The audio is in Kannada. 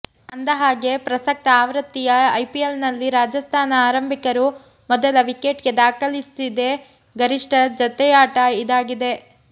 ಅಂದಹಾಗೆ ಪ್ರಸಕ್ತ ಆವೃತ್ತಿಯ ಐಪಿಎಲ್ನಲ್ಲಿ ರಾಜಸ್ಥಾನ ಆರಂಭಿಕರು ಮೊದಲ ವಿಕೆಟ್ಗೆ ದಾಖಲಿಸಿದೆ ಗರಿಷ್ಠ ಜತೆಯಾಟ ಇದಾಗಿದೆ